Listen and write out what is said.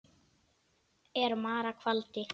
er mara kvaldi.